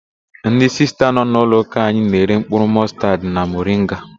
Ndị Sista nọ n'ụlọụka anyị na-ere mkpụrụ mọstaad na moringa.